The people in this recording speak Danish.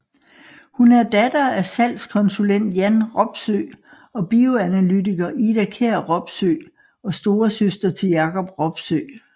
Hun er datter af salgskonsulent Jan Robsøe og bioanalytiker Ida Kjær Robsøe og storesøster til Jacob Robsøe